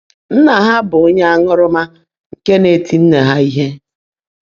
Nná há bụ́ ónyé áńụ́rụ́má nkè ná-ètí nnè há íhe.